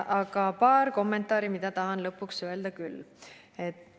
Aga paar kommentaari tahan veel lõpuks öelda.